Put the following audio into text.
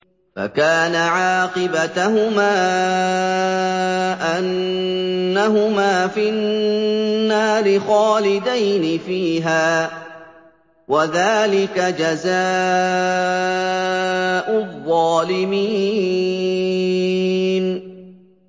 فَكَانَ عَاقِبَتَهُمَا أَنَّهُمَا فِي النَّارِ خَالِدَيْنِ فِيهَا ۚ وَذَٰلِكَ جَزَاءُ الظَّالِمِينَ